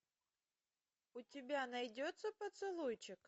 у тебя найдется поцелуйчик